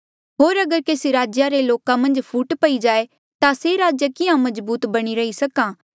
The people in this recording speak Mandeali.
होर अगर केसी राज्या रे लोका मन्झ फूट पई जाए ता से राज्य किहाँ मजबूत बणी रही सक्हा